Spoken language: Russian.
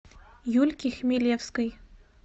юльки хмелевской